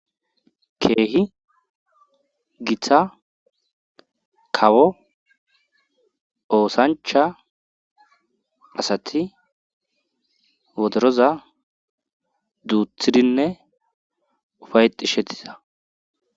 Keehi githa kawo oosancha asati wodoroza duuthidinne ufayxishetiza